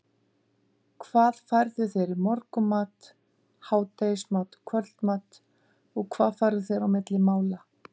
hvað færðu þér í morgunmat, hádegismat og kvöldmat og hvað færðu þér á milli mála?